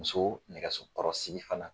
Muso nɛgɛso kɔrɔsigi fana